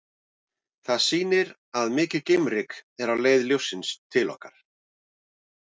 Það sýnir að mikið geimryk er á leið ljóssins til okkar.